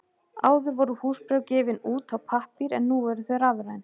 Áður voru húsbréf gefin út á pappír en nú eru þau rafræn.